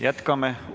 Jätkame.